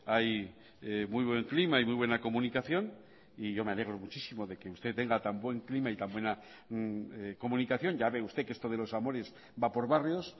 hay muy buen clima y muy buena comunicación y yo me alegro muchísimo de que usted tenga tan buen clima y tan buena comunicación ya ve usted que esto de los amores va por barrios